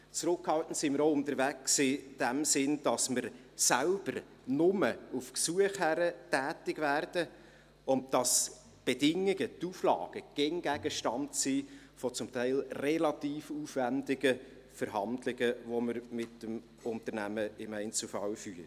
Zurückhaltend sind wir in dem Sinn auch unterwegs, indem wir selbst nur auf Gesuch hin tätig werden und die Bedingungen, die Auflagen, immer Gegenstand sind von teilweise relativ aufwändigen Verhandlungen, die wir mit dem Unternehmen im Einzelfall führen.